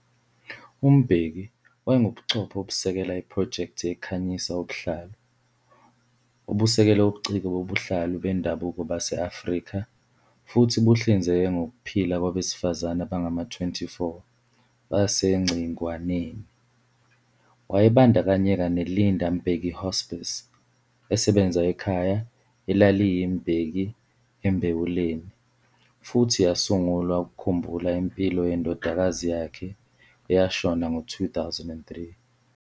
UMbeki wayengubuchopho obusekela iphrojekthi yeKhanyisa ubuhlalu, obusekele ubuciko bobuhlalu bendabuko base-Afrika futhi buhlinzeke ngokuphila kwabesifazane abangama-24 baseNgcingwanean. Wayebandakanyeka neLinda Mbeki Hospice, esebenza ekhaya elaliyiMbeki eMbewuleni, futhi yasungulwa ukukhumbula impilo yendodakazi yakhe, eyashona ngo-2003.